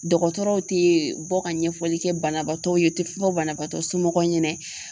Dɔgɔtɔrɔw tɛ bɔ ka ɲɛfɔli kɛ banabaatɔw ye u tɛ fɔ banabaatɔ somɔgɔw ɲɛna.